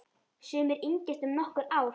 Sumir yngjast um nokkur ár.